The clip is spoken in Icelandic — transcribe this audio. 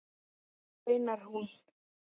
veinar hún.